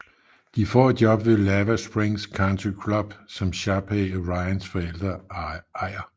De får et job ved Lava Springs Country Club som Sharpay og Ryans forældre ejer